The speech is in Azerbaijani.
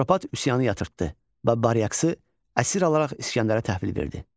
Atropat üsyanı yatırtdı və Baryaksı əsir alaraq İsgəndərə təhvil verdi.